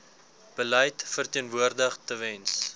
beleid verteenwoordig tewens